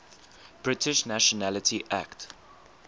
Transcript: british nationality act